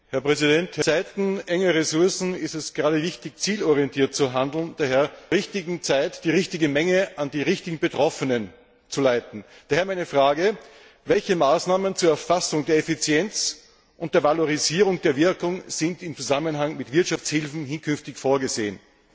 Gerade in Zeiten knapper Ressourcen ist es wichtig, zielorientiert zu handeln, zur richtigen Zeit die richtige Menge an die richtigen Betroffenen zu leiten. Daher meine Frage Welche Maßnahmen zur Erfassung der Effizienz und der Valorisierung der Wirkung sind im Zusammenhang mit Wirtschaftshilfen künftig vorgesehen?